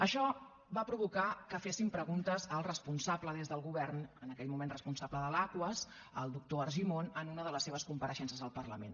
això va provocar que féssim preguntes al responsable des del govern en aquell moment responsable de l’aquas el doctor argimon en una de les seves compareixences al parlament